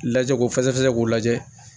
Lajɛ k'o fɛsɛ k'u lajɛ